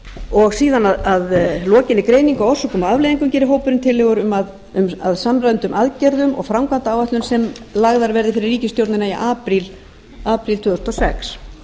og síðan að lokinni greiningu á orsökum og afleiðingum gerir hópurinn tillögur um að samræmdum aðgerðum og framkvæmdaáætlun sem lagðar verði fyrir ríkisstjórnina í apríl tvö þúsund og sex